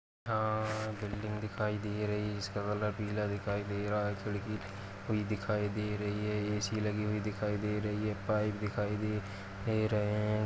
अ-बिल्डिंग दिखाई दे रही इसका कलर पीला दिखाई दे रहा है खिड़की खुल दिखाई दे रही है ए.सी. लगी हुई दिखाई दे रही है पाइप दिखाई द् एं रहें हैं।